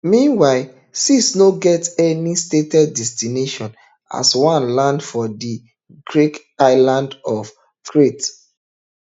meanwhile six no get any stated destination as one land for di greek island of crete